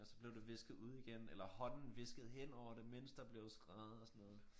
Og så blev det visket ud igen eller hånden viskede henover det mens der blev skrevet og sådan noget